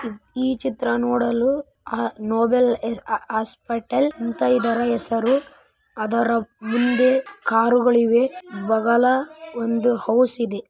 ಈ ಚಿತ್ರ ನೋಡಲು ಅ ನೋಬೆಲ್‌ ಅ ಹಾಸ್ಪಿಟಲ್‌ ಅಂತಾ ಇದರ ಹೆಸರು. ಅದರ ಮುಂದೆ ಕಾರುಗಳಿವೆ ಬಗಲ ಒಂದು ಹೌಸ್ ಇದೆ.